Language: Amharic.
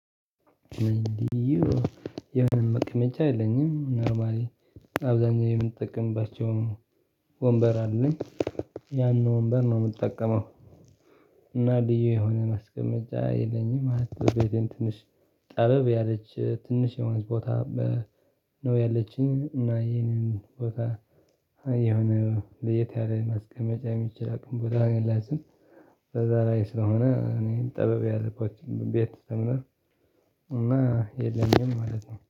እንግዲህ ልዩ የሆነ መቅመጫ የለኝም። አብዛኛው የምጠቀምባቸውን ወንበር አለኝ ያን ወንበር ነው የምጠቀመው። እና ልዩ የሆነ ማስቀመጫ የለኝም ማለት ትንሽ ጠበብ ያለች ትንሽ የሆነች ቦታ ነው። ያለችኝ እና ይሄንን ቦታ የሆነ ለየት ያለ ማስቀመጫ የሚችል አቅም ቦታ ነው የላትም። ለዛ ላይ ስለሆነ እኔን ጠበብ ያለባችሁን ቤት ዘምና። እና የለኝም ማለት ነው